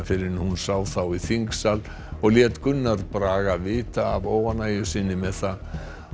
fyrr en hún sá þá í þingsal og lét Gunnar Braga vita af óánægju sinni með það